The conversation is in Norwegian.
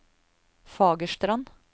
Fagerstrand